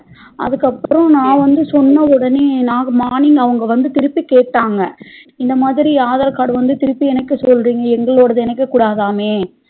அதுகப்புறம் நா வந்து சொன்னவுடனே நா morning அவங்க வந்து திருப்பி கேட்டாங்க இந்தமாதிரி aadhar card வந்து திருப்பி இணைக்க சொல்றிங்க எங்களோடது இணைக்கக்கூடாதாமே